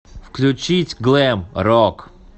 включить глэм рок